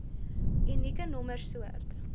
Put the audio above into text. unieke nommer soort